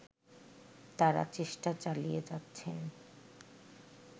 তারা চেষ্টা চালিয়ে যাচ্ছেন